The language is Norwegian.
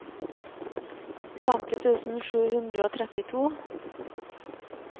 femti tusen sju hundre og trettito